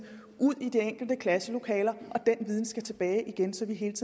ud i de enkelte klasselokaler og den viden skal tilbage igen så vi hele